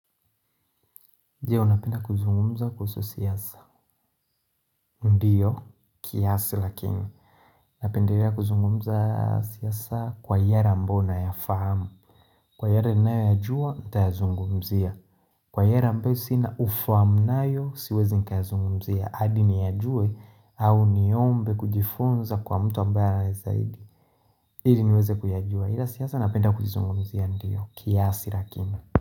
Ndiyo napenda kuzungumza kuhusu siasa Ndiyo, kiasi lakini napenda kuzungumza siasa kwa yale ambayo ninayafahamu Kwa yale ninaayoyajua, nitayazungumzia Kwa yale ambayo sina ufahamu nayo, siwezi nikayazungumzia hadi niyajue au niombe kujifunza kwa mtu ambayo ya zaidi ili niweze kuyajua ila siasa napenda kuzungumzia ndiyo, kiasi lakini.